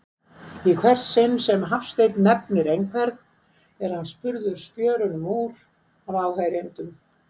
Í hvert sinn sem Hafsteinn nefnir einhvern, er hann spurður spjörunum úr af áheyrendum.